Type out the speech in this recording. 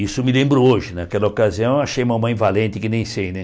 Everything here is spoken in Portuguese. Isso me lembro hoje, naquela ocasião, achei mamãe valente que nem sei, né?